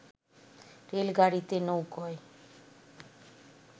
রেলগাড়িতে, নৌকোয়